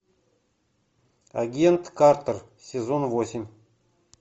агент картер сезон восемь